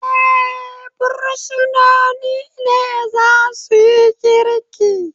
Eh, bursinoni ne za suyi girki